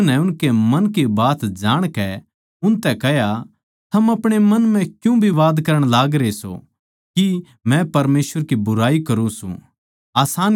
यीशु नै उनकै मन की बात जाणकै उनतै कह्या थम अपणे मन म्ह क्यूँ विवाद करण लागरे सो की मै परमेसवर की बुराई करूँ सूं